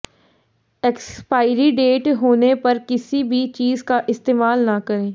expiry date होने पर किसी भी चीज का इस्तेमाल ना करें